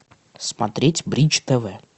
смотреть бридж тв